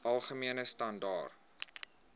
algemene standaar